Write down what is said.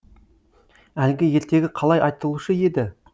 әлгі ертегі қалай айтылушы еді